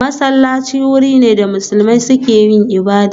Masallaci wuri ne da musulmi suke yin ibada